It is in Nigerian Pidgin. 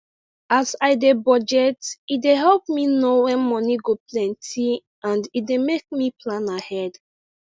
as i dey budget e dey help me know wen moni go plenty and e dey make me plan ahead